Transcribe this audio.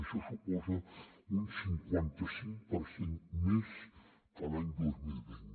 això suposa un cinquanta cinc per cent més que l’any dos mil vint